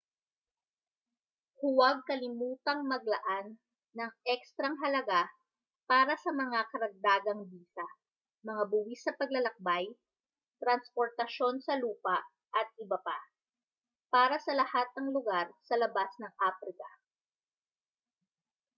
huwag kalimutang maglaan ng ekstrang halaga para sa mga karagdagang bisa mga buwis sa paglalakbay transportasyon sa lupa atbp . para sa lahat ng lugar sa labas ng aprika